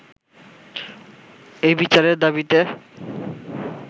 এই বিচারের দাবীতে